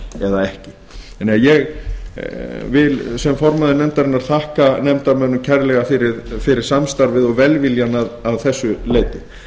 eða ekki sem formaður nefndarinnar vil ég þakka nefndarmönnum kærlega fyrir samstarfið og velviljann að þessu leyti